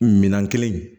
Minan kelen